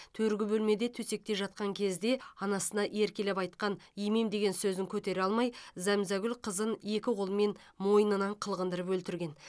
төргі бөлмеде төсекте жатқан кезде анасына еркелеп айтқан емем деген сөзін көтере алмай зәмзагүл қызын екі қолымен мойнынан қылғындырып өлтірген